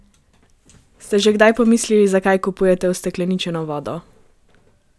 Ste že kdaj pomislili, zakaj kupujete ustekleničeno vodo?